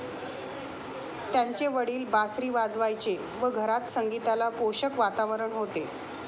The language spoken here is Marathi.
त्यांचे वडील बासरी वाजवायचे व घरात संगीताला पोषक वातावरण होते.